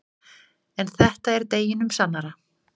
En þetta er deginum sannara.